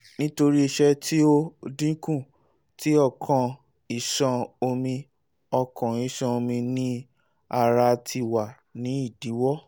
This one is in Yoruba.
nitori iṣẹ ti o dinku ti okan iṣan omi okan iṣan omi ni ara ti wa ni idiwọ